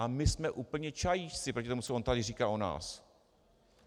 A my jsme úplní čajíčci proti tomu, co on tady říká o nás.